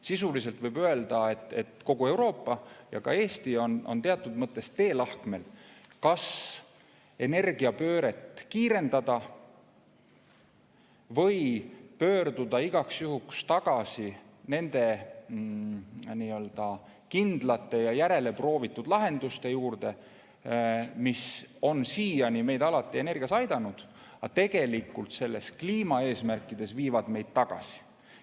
Sisuliselt võib öelda, et kogu Euroopa ja ka Eesti on teatud mõttes teelahkmel: kas energiapööret kiirendada või pöörduda igaks juhuks tagasi nende kindlate ja järeleproovitud lahenduste juurde, mis on siiani energia alati aidanud, aga tegelikult kliimaeesmärkide seisukohalt viivad meid tagasi.